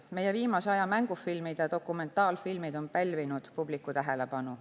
Meie viimase aja mängufilmid ja dokumentaalfilmid on pälvinud publiku tähelepanu.